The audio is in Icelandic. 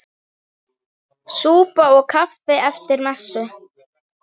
Súpa og kaffi eftir messu.